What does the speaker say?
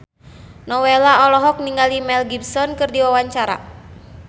Nowela olohok ningali Mel Gibson keur diwawancara